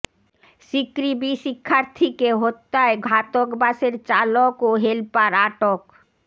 সিকৃবি শিক্ষার্থীকে হত্যায় ঘাতক বাসের চালক ও হেলপার আটক